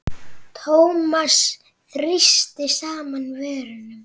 Thomas þrýsti saman vörum.